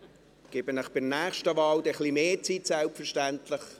Ich gebe Ihnen selbstverständlich bei der nächsten Wahl mehr Zeit.